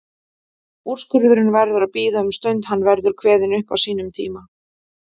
Úrskurðurinn verður að bíða um stund, hann verður kveðinn upp á sínum tíma.